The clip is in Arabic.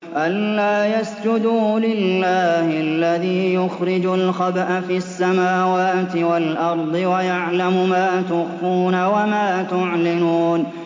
أَلَّا يَسْجُدُوا لِلَّهِ الَّذِي يُخْرِجُ الْخَبْءَ فِي السَّمَاوَاتِ وَالْأَرْضِ وَيَعْلَمُ مَا تُخْفُونَ وَمَا تُعْلِنُونَ